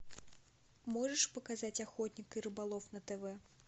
можешь показать охотник и рыболов на тв